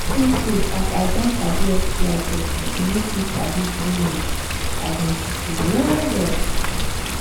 true true as i don sabi sti testing e make me sabi do with um people well well